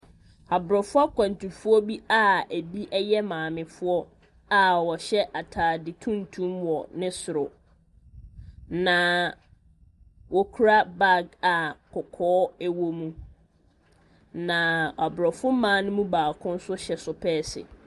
Aborɔfo akwantufoɔ bi a ebi yɛ maamefoɔ a wɔhyɛ atade tuntum wɔ ne soro, na wɔkura bag a kɔkɔɔ wɔ mu, na aborɔfo mmaa no mu baako nso hyɛ sopɛɛse.